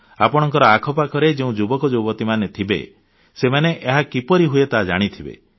ଆପଣଙ୍କ ଆଖି ଆଗରେ ଯେଉଁ ଯୁବକ ଯୁବତୀମାନେ ଥିବେ ସେମାନେ ଏହା କିପରି ହୁଏ ତାହା ଜାଣିଥିବେ